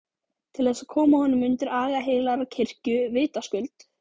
Til þess að koma honum undir aga heilagrar kirkju, vitaskuld!